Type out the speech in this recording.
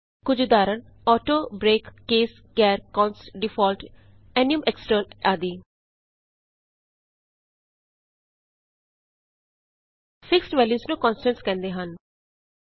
ਕੁਝ ਉਦਾਹਰਣ auto break case char const default enum extern ਆਦਿ ਫਿਕਸਡ ਵੈਲਯੂਸ ਨੂੰ ਕੋਨਸਟੈਂਟਸ ਕਹਿੰਦੇ ਹਨ